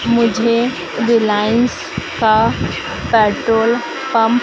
मुझे रिलायंस का petrol pump --